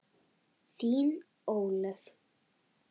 Þín, Ólöf.